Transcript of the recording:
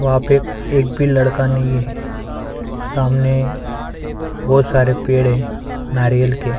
वहाँ पे एक भी लड़का नहीं है सामने बहुत सारे पेड़ है नारियल के --